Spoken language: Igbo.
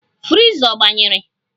Friza ọ gbanyere?